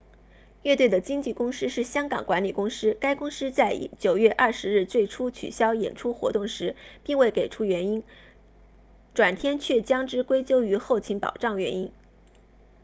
乐队的经纪公司是香港管理公司 hk management inc 该公司在9月20日最初取消演出活动时并未给出原因转天却将之归咎于后勤保障原因